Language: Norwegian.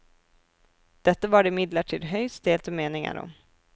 Dette var det imidlertid høyst delte meninger om.